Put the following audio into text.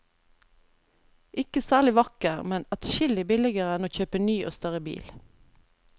Ikke særlig vakker, men adskillig billigere enn å kjøpe ny og større bil.